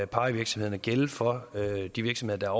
pie virksomhederne gælde for de virksomheder